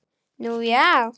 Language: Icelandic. Nú, já!